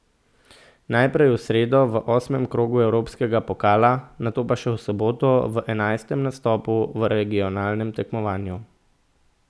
Najprej v sredo v osmem krogu evropskega pokala, nato pa še v soboto v enajstem nastopu v regionalnem tekmovanju.